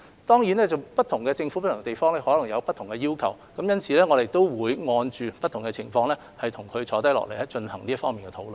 當然，不同地方的政府可能有不同的要求，因此，我們會按照不同情況跟這些政府坐下來進行這方面的討論。